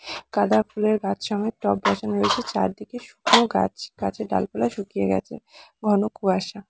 গাঁদা ফুলের গাছ সমেত টব বসানো হয়েছে। চারদিকে শুকনো গাছগাছের ডাল পালা শুকিয়ে গেছে। ঘন কুয়াশা।